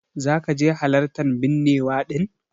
Zaka je halartan binnewa din?